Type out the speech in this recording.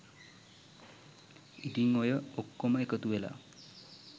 ඉතින් ඔය ඔක්කොම එකතුවෙලා